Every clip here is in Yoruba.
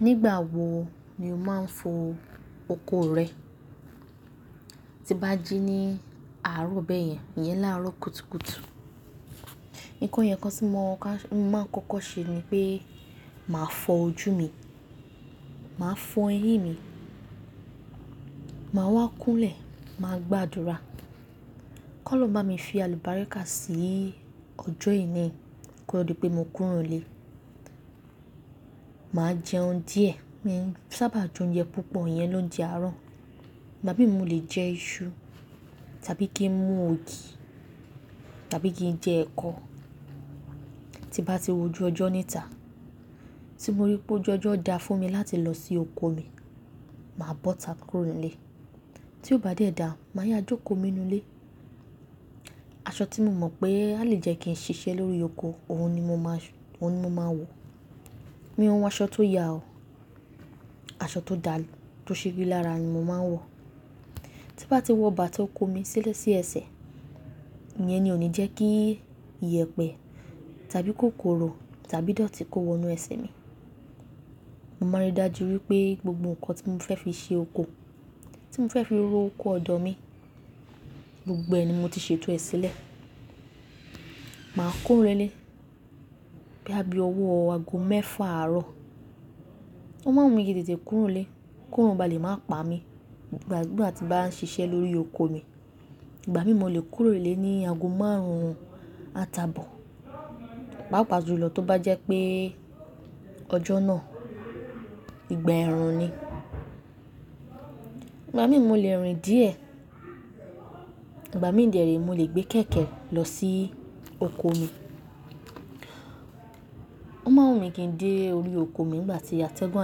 Nígbà wo ni o máa ń fọ oko rẹ? Ti bá jí ní àárọ̀ bẹ́ẹ̀ yẹn, ìyẹn láàárọ̀ kùtùkùtù. Nǹkan yẹn kan tí mo máa ń kọ́kọ́ ṣe ni pé màá fọ ojú mi, màá fọ eyín mi, màá wá kúnlẹ̀, màá gbàdúrà kí ọlọ́run bá mi fi àlùbáríkà sí ọjọ́ ẹni kí ó tó di pé mo kúró nilé. Màá jẹun díẹ̀, mo sábà jẹ oúnjẹ púpọ̀, ìyẹn lóunje àárọ̀. Ìgbà mí mu lè jẹ iṣu tàbí kí n mú ògì tàbí kí n jẹ ẹ̀kọ. Ti bá ti wọjú ọjọ́ níta, tí mo rí pé ojú ọjọ́ dá fún mi láti lọ sí oko mi, màá bọ́ta kúrò nlé tí ó bá dé da, màá yá jókòó mi nù ilé. Aṣọ tí mo mọ̀ pé a lè jẹ́ kí n ṣiṣẹ́ lórí oko, òhun ni mo máa wọ̀. Mi ò n wọ aṣọ tó ya o. Aṣọ tó dà, tó ṣe rilara ni mo máa ń wọ̀. Ti bá ti wọ bàtà oko mi sílẹ̀ sí ẹsẹ̀, ìyẹn ni ò ní jẹ́ kí ìyẹ̀pẹ̀ tàbí kòkòrò tàbí dọ̀tí kó wọnú ẹsẹ̀ mi. Mo máa rí dájú wípé gbogbo ǹkan tí mo fẹ́ fi ṣe oko, tí mo fẹ́ fi ró oko ọ̀dọ̀ mi, gbogbo ẹ̀ ni mo ti ṣètò ẹ sílẹ̀. Màá kúrò nlé, bóyá bí owó ago mẹ́fà àárọ̀. Ó máa ń wù mí kí n tètè kúrò nlé, kí órun bá lè máa pa mí nígbà tí bá ń ṣiṣẹ́ lórí oko mi. Ìgbà mìí mo lè kúrò nlé ní ago maruun àti àbọ̀ papa jùlọ tó bá jẹ pé ọjọ náà ìgbà ẹ̀rùn nii. Ìgbà mí mo lè rìn díẹ̀. Ìgbà mi dere, mo lè gbé kẹ̀kẹ́ lọ sí oko mi. Ó máa wùn mí kí n dé orí oko mi nígbà tí atẹ́gùn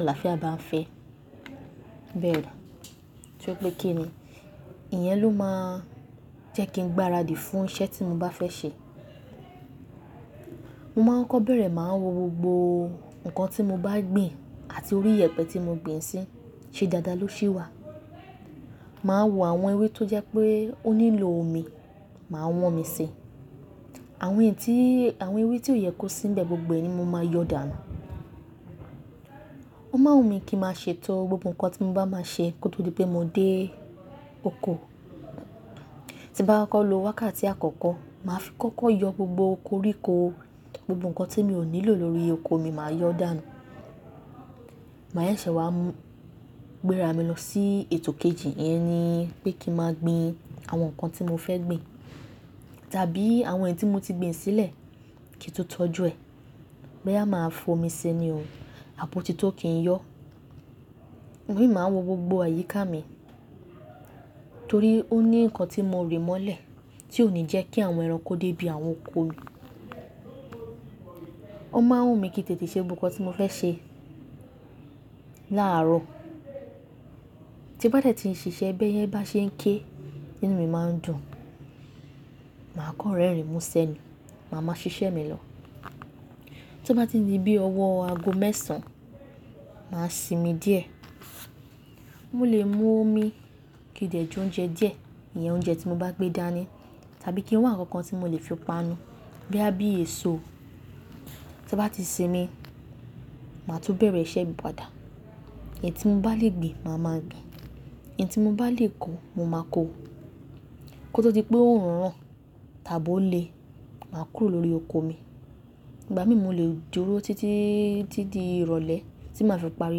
àlàáfíà bá ń fẹ, bẹ́ẹ̀ dà. Ti ó pé kí ni, ìyẹn ló máa jẹ́ kí n gbáradì fún iṣẹ́ tí mo bá fẹ́ ṣe. Mo máa ń kọ́bẹ̀rẹ̀, màá wò gbogbo ǹkan tí mo bá gbìn àti orí ìyẹ̀pẹ̀ tí mo gbìn sí, ṣe dáadáa ló ṣi wà. Màá wò àwọn ewé tó jẹ́ pé ó nílò omi, màá wọ́n omi sí. Àwọn èyí tí, àwọn ewé tí ó yẹ kó sínbẹ̀ gbogbo ẹni mo máa yọ dànù. Ó máa wùn mí kí n máa ṣètọ́ gbogbo ǹkan tí mo bá máa ṣe kó tó di pé mo dé oko. Ti n bá kọ́kọ́ ló wákàtí àkọ́kọ́, màá fi kọ́kọ́ yọ gbogbo koríko, gbogbo ǹkan tí mi ò nílò lórí oko mi, màá yọ dànù. Màá e ṣe wá, gbéra mi lọ sí ètò kejì, ìyẹn ni pé kí n máa gbìn àwọn ǹkan tí mo fẹ́ gbìn tàbí àwọn èyí tí mo ti gbìn sílẹ̀ kí n tó tọ́jú ẹ̀. Bóyá máa fọ omi ṣi ni o, à bo ti tó kì í yọ. Ìgbà mi máa wò gbogbo àyíká mi torí ó ní ǹkan tí mo rì mọ́lẹ̀ tí ò ní jẹ́ kí àwọn ẹranko dé ibi àwọn oko mi. Ó máa wùn mí kí n tètè ṣe gbogbo ǹkan tí mo fẹ́ ṣe láàárọ̀. Ti bá dé tí n ṣiṣẹ́, bẹ́ẹ̀ yẹ́ bá ṣe ń ké, nínú mi máa ń dùn. Màá kọ́ rẹ́rìn mú ṣe ni, màá máa ṣiṣẹ́ mi lọ. Tí ó bá ti di bí ọwọ́ ago mẹ́sàn-án, màá sinmi díẹ̀. Mo lè mú omi kí n dẹ̀ jẹ oúnjẹ díẹ̀, ìyẹn oúnjẹ tí mo bá gbé dání tàbí kí wá ǹkan kan tí mo lè fi panu bí a bi èso. Ti bá ti sinmi, màá tún bẹ̀rẹ̀ iṣẹ́ mi padà. Èyí tí n bá lè gbà màá máa du. Èyí tí mo bá lè kó, mo máa kó. Kó tó di pé orun ràn tàbí ó lè má kúrò lórí oko mi ìgbà mí mo lè dúró títí ti di ìrọ̀lẹ́ tí màá fi parí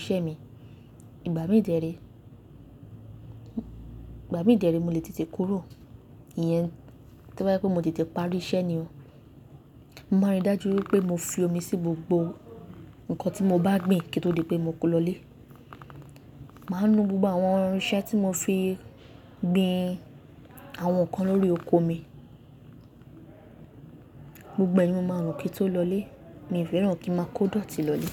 iṣẹ́ mi. Ìgbà mìí dere ìgbà mi dere mo lè te te kúrò. Ìyẹn tí ó bá jẹ́ pé mo ti tètè parí iṣẹ́ ni o. Mo máa rí dájú wípé mo fi omi sí gbogbo ǹkan tí mo bá gbìn kí ó tó di pé mo kó lọ lé. Màá nù gbogbo àwọn irinṣẹ́ tí mo fi gbìn àwọn ǹkan lórí oko mi. Gbogbo ẹ̀ ni mo máa nù kí ó tó lọ lé. Mi fẹ́ràn kí n máa kó dọ̀tí lọ lé.